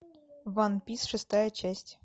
ван пис шестая часть